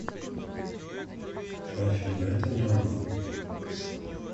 афина это не она